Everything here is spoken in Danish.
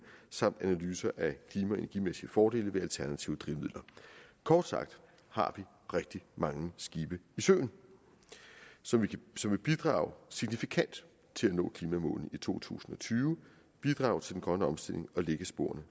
samt analyser af klima energimæssige fordele ved alternative drivmidler kort sagt har vi rigtig mange skibe i søen som vil bidrage signifikant til at nå klimamålet i to tusind og tyve bidrage til den grønne omstilling og lægge sporene